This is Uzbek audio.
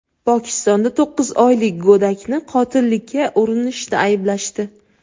Pokistonda to‘qqiz oylik go‘dakni qotillikka urinishda ayblashdi.